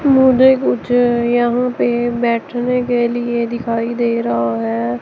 मुझे कुछ यहां पे बैठने के लिए दिखाई दे रहा है।